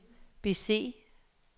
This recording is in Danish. bese